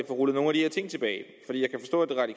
få rullet nogle af de her ting tilbage